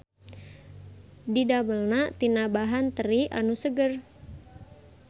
Didamelna tina bahan teri anu seger.